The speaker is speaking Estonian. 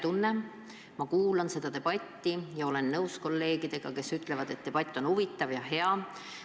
Ma kuulan siinset debatti ja olen nõus kolleegidega, kes ütlevad, et debatt on huvitav ja hea.